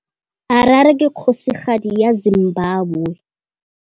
Harare ke kgosigadi ya Zimbabwe.